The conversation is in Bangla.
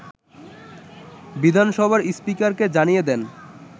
বিধানসভার স্পীকারকে জানিয়ে দেন